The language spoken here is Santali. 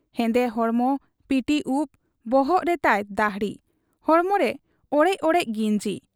ᱦᱮᱸᱫᱮ ᱦᱚᱲᱢᱚ, ᱯᱤᱴᱤ ᱩᱵ, ᱵᱚᱦᱚᱜ ᱨᱮᱛᱟᱭ ᱫᱟᱹᱦᱲᱤ ᱾ ᱦᱚᱲᱢᱚᱨᱮ ᱚᱲᱮᱡ ᱚᱲᱮᱡ ᱜᱤᱸᱡᱤ ᱾